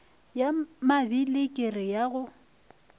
ya mabili kere ya go